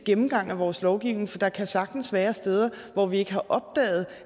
gennemgang af vores lovgivning for der kan sagtens være steder hvor vi ikke har opdaget